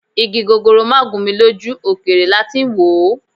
Igi gogoro máà gún mi lójú, òkèèrè lati ń wòó